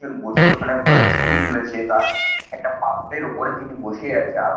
বসে ওখানে বা ছবি তুলেছে তার একটা পাথরের ওপরে তিনি বসে আছে আর--